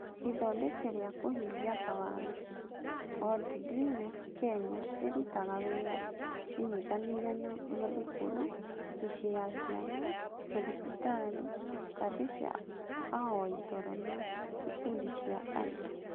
Ithondeka rĩa kũhingia mawatho: Worldreader Kenya ĩrutaga wĩra ĩnyitanĩire na mathukuru, mĩciĩ ya ciana, mathibitarĩ, kambĩ cia ahoi toro na ikundi cia andũ.